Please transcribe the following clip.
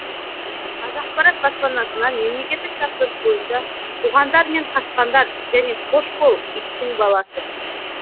қазақпарат баспасынан мемлекеттік тапсырыс бойынша қуғандар мен қашқандар және хош бол иттің баласы